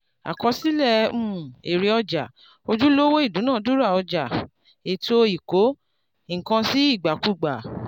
àkọsílẹ̀ um èrè ọjà ojúlówó ìdúnàdúrà ọjà ètò ìkó-nǹkan-sí-ìgbàkúgbà.